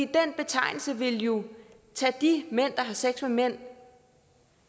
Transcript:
den betegnelse ville jo tage de mænd der har sex med mænd og